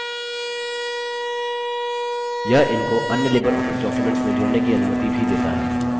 यह इनको अन्य लिबरऑफिस documents में जोड़ने की अनुमति भी देता है